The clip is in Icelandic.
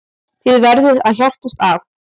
Þið verðið að hjálpast að.